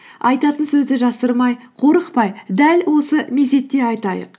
айтатын сөзді жасырмай қорықпай дәл осы мезетте айтайық